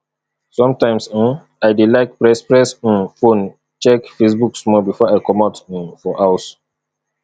sometimes um i dey like press press um phone check facebook small before i comot um for house